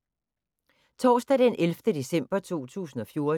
Torsdag d. 11. december 2014